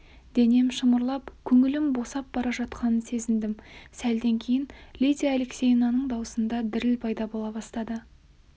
денем шымырлап көңілім босап бара жатқанын сезіндім сәлден кейін лидия алексеевнаның даусында діріл пайда бола бастады